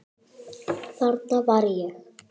Þarna var ég.